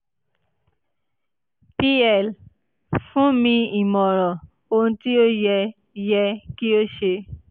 pl fun mi imọran ohun ti o yẹ yẹ ki o ṣe